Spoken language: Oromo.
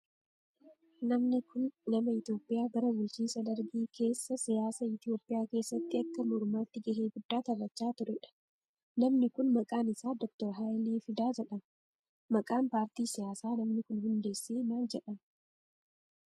Namni kun, nama Itoophiyaa bara bulchiinsa Dargii keessa siyaasa Itoophiyaa keessatti akka mormaatti gahee guddaa bahachaa turee dha. Namni kun, maqaan isaa Doktar Hayilee Fidaa jedhama. Maqaan paartii siyaasaa namni kun hundeessee maal jedhama?